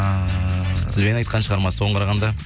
ыыы сізбен айтқан шығарма соған қарағанда